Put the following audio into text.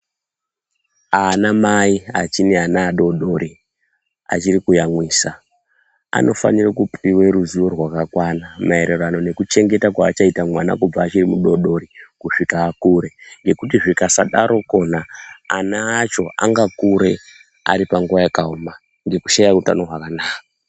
Ana mai achineana adodori achiri kuyamwisa anofanire kupuwe ruziwo rwakakwana Maererano nekuchengeta kwaachaite mwana kubva ari mudodori kusvika akure ngekuti zvikasadaro kwona ana acho anga kure ari panguwa yakaoma ngekushaye utano hwakanaka.